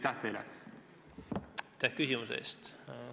Aitäh küsimuse eest!